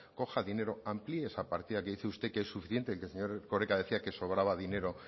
coja dinero amplíe esa partida que dice usted que es suficiente que el señor erkoreka decía que sobraba dinero